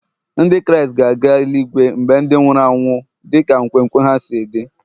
Ndị Kraịst ga-aga eli-igwe mgbe ndị nwụrụ anwụ dị ka nkwenkwe ha si dị